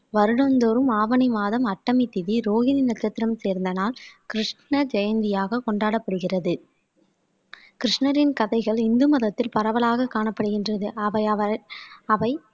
வருடந்தோறும் ஆவணி மாதம் அஷ்டமி திதி ரோகிணி நட்சத்திரம் சேர்ந்த நாள் கிருஷ்ண ஜெயந்தியாக கொண்டாடப்படுகிறது கிருஷ்ணரின் கதைகள் இந்து மதத்தில் பரவலாக காணப்படுகின்றது அவை